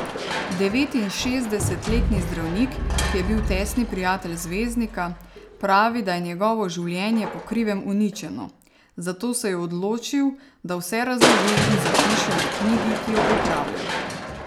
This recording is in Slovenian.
Devetinšestdesetletni zdravnik, ki je bil tesni prijatelj zvezdnika, pravi, da je njegovo življenje po krivem uničeno, zato se je odločil, da vse razloži in zapiše v knjigi, ki jo pripravlja.